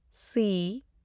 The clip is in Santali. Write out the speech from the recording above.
ᱥᱤ